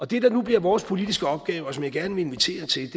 det der nu bliver vores politiske opgave og som jeg gerne vil invitere til